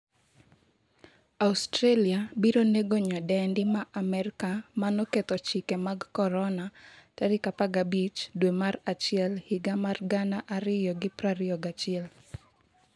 Australia biro nego nyadendi ma Amerka manoketho chike mag Corona' 15 dwe mar achiel 2021